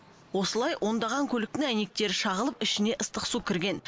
осылай ондаған көліктің әйнектері шағылып ішіне ыстық су кірген